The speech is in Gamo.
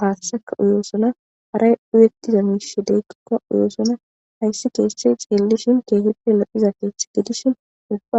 haaththeka uyosona hara uyettiza miishshi diikoka uyoson .Hassa keeththay xeellishin keehippe lo7iza keeththa gidishin ubba